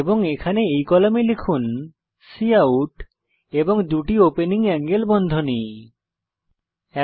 এবং এখানে এই কলামে লিখুনকাউট এবং দুটি ওপেনিং অ্যাঙ্গেল বন্ধনী এলটিএলটি